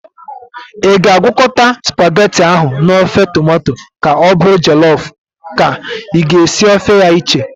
Ị ga-agwakọta spagheti ahu n'ofe tomato ka ọ bụrụ jọlọf ka i ga-esi ofe ya iche?